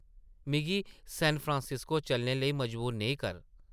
मिगी सैनफ्रांसिस्को चलने लेई मजबूर नेईं कर ।